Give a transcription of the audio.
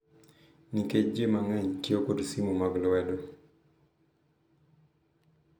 Nikech ji mang’eny tiyo kod simu mag lwedo